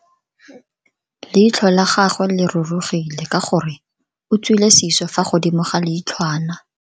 Leitlho la gagwe le rurugile ka gore o tswile siso fa godimo ga leitlhwana.